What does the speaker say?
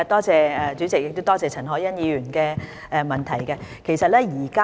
主席，多謝陳凱欣議員的補充質詢。